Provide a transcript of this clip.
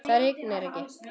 Það rignir ekki.